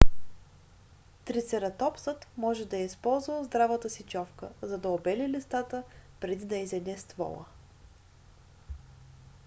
трицератопсът може да е използвал здравата си човка за да обели листата преди да изяде ствола